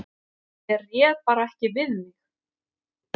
Ég réð bara ekki við mig.